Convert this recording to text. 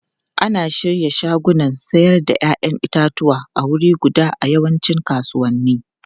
Ana shirya shagunan sayar da 'ya'yan itatuwa a wuri guda a yawancin kasuwanni.